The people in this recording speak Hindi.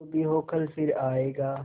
जो भी हो कल फिर आएगा